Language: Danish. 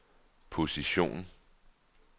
position